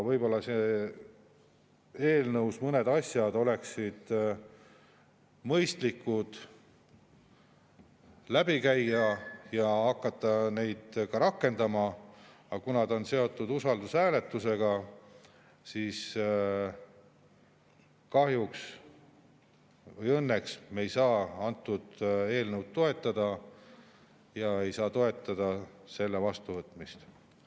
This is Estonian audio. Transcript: Võib-olla oleks mõistlik eelnõus mõned asjad veel läbi käia ja hakata neid siis rakendama, aga kuna see on seotud usaldushääletusega, siis kahjuks või õnneks me ei saa eelnõu toetada, ei saa toetada selle vastuvõtmist.